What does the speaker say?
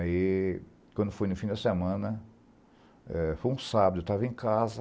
Aí, quando foi no fim da semana, eh foi um sábado, eu estava em casa,